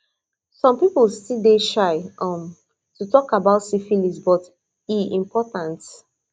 some people still dey shy um to talk about syphilis but e important